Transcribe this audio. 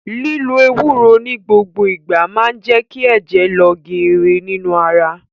Lílo Ewúró ni gbogbo ìgbà máa je kí ẹ̀jẹ̀ lọ geere nínú ara